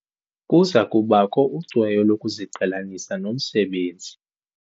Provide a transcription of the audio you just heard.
Kuza kubakho ucweyo lokuziqhelanisa nomsebenzi.